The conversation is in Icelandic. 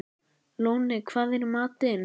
Lóni, hvað er í matinn?